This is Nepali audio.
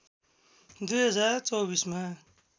२०२४ मा